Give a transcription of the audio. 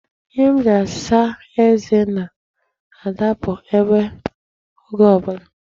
Ihe m ji asa eze na-adapụ ebe a oge ọ bụla.